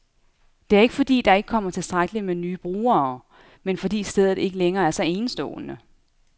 Det er ikke, fordi der ikke kommer tilstrækkeligt med nye brugere, men fordi stedet ikke længere er så enestående.